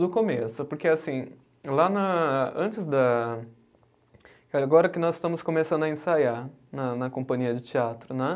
Do começo, porque assim, lá na antes da. Agora que nós estamos começando a ensaiar na na companhia de teatro, né?